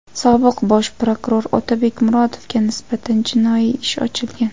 Sobiq bosh prokuror Otabek Murodovga nisbatan jinoiy ish ochilgan.